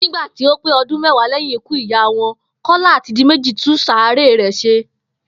Nígbà tí ó pé o̩dún mé̩wàá lé̩yìn ikú ìyá wo̩n, Kó̩la àti Diméjì tún sàréè rè̩ s̩e